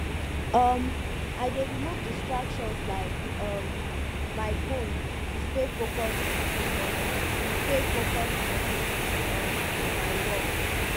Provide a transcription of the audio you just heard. um i dey remove distractions like um my phone to stay focused on stay focused on um my work